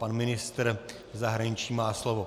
Pan ministr zahraničí má slovo.